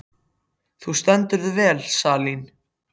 Þú stendur þig vel, Salín!